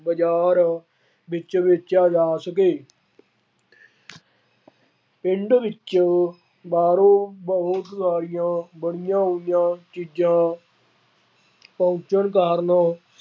ਬਾਜ਼ਾਰ ਵਿੱਚ ਵੇਚਿਆ ਜਾ ਸਕੇ। ਪਿੰਡ ਵਿੱਚ ਬਾਹਰੋਂ ਬਹੁਤ ਸਾਰੀਆਂ ਬੜੀਆਂ ਚੀਜ਼ਾਂ ਪਹੁੰਚਣ ਕਾਰਨ